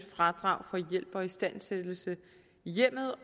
fradrag for hjælp og istandsættelse i hjemmet